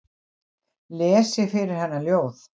Lesi fyrir hana ljóð.